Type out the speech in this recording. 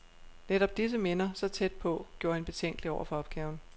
Netop disse minder, så tæt på, gjorde hende betænkelig over for opgaven.